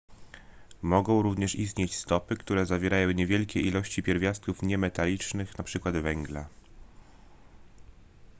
mogą również istnieć stopy które zawierają niewielkie ilości pierwiastków niemetalicznych np węgla